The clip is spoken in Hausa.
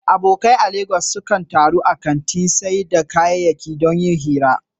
Abokai a Legas sukan taru a kantin sayar da kayayyaki don yin hira.